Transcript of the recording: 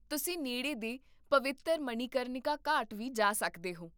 ਤੁਸੀਂ ਨੇੜੇ ਦੇ ਪਵਿੱਤਰ ਮਣੀਕਰਨਿਕਾ ਘਾਟ ਵੀ ਜਾ ਸਕਦੇ ਹੋ